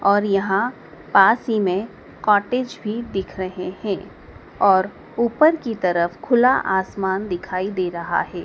और यहां पास ही में कॉटेज भी दिख रहे हैं और ऊपर की तरफ खुला आसमान दिखाई दे रहा है।